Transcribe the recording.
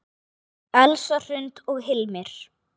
Elsa Hrund og Hilmir.